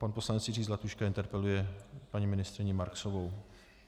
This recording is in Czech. Pan poslanec Jiří Zlatuška interpeluje paní ministryni Marksovou.